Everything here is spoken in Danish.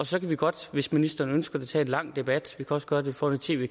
så kan vi godt hvis ministeren ønsker det tage en lang debat og også gøre det foran tv